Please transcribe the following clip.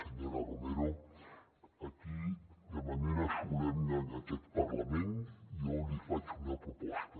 senyora romero aquí de manera solemne en aquest parlament jo li faig una proposta